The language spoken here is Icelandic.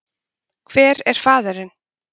Hver er faðirinn?